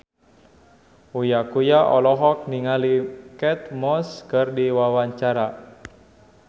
Uya Kuya olohok ningali Kate Moss keur diwawancara